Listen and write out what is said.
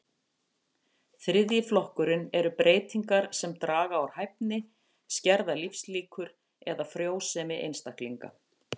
Þriðji flokkurinn eru breytingar sem draga úr hæfni, skerða lífslíkur eða frjósemi einstaklinga.